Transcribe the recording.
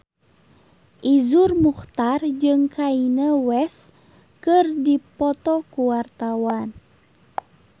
Iszur Muchtar jeung Kanye West keur dipoto ku wartawan